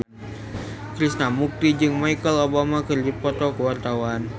Krishna Mukti jeung Michelle Obama keur dipoto ku wartawan